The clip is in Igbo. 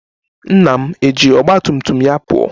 Nna m eji ọgba tum tum ya pụọ?